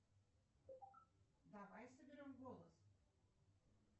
салют